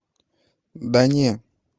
да не